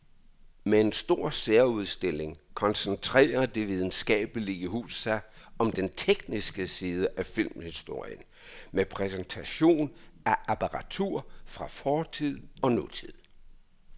Med en stor særudstilling koncentrerer det videnskabelige hus sig om den tekniske side af filmhistorien med præsentation af apparatur fra fortid og nutid.